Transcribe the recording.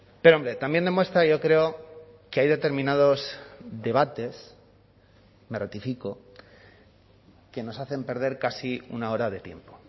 pero hombre también demuestra yo creo que hay determinados debates me ratifico que nos hacen perder casi una hora de tiempo